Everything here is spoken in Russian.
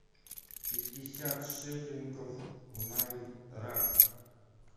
пятьдесят шиллингов в найрах